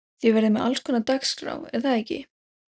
Þið verðið með allskonar dagskrá er það ekki?